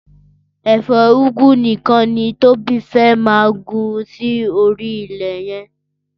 Ẹfọ úgwú nikàn ni Tobi fẹ̀ maá gbin si óri ilẹ yẹn